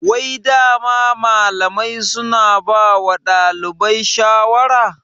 Wai dama malamai suna bawa ɗalibai shawara?